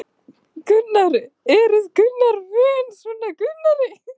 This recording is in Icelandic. Jóhann: Eruð þið vön svona veðri?